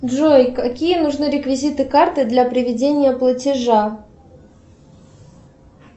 джой какие нужны реквизиты карты для приведения платежа